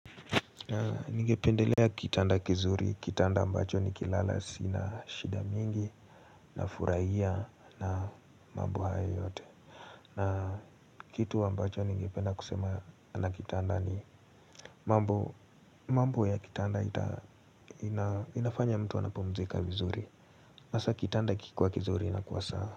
Ningependelea kitanda kizuri, kitanda ambacho nikilala sina shida mingi nafurahia na mambo hayo yote. Na kitu ambacho ningependa kusema na kitanda ni mambo ya kitanda inafanya mtu anapumzika vizuri. Hasa kitanda kikiwa kizuri inakuwa sawa.